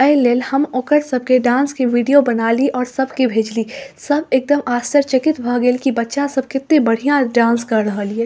ए लेल हम ओकर सबके डांस के वीडियो बनाली और सब के भेजली सब एकदम आश्चर्यचकित भ गेल की बच्चा सब केते बढ़िया डांस कर रहल ये।